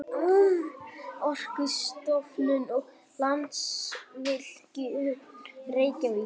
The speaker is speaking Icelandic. Orkustofnun og Landsvirkjun, Reykjavík.